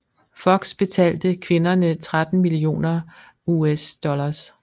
Fox betalte kvinderne 13 mio USD